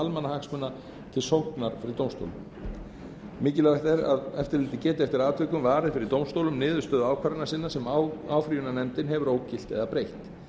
almannahagsmuna til sóknar fyrir dómstólum mikilvægt er að eftirlitið geti eftir atvikum varið fyrir dómstólum niðurstöðu ákvarðana sinna sem áfrýjunarnefndin hefur ógilt eða breytt